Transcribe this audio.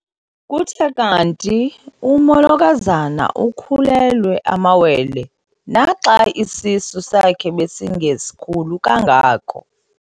Kuthe kanti umolokazana ukhulelwe amawele naxa isisu sakhe besingesikhulu kangako.